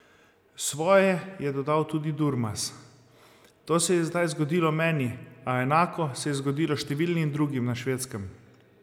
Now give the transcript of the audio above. Svoje je dodal tudi Durmaz: "To se je zdaj zgodilo meni, a enako se je zgodilo številnim drugim na Švedskem.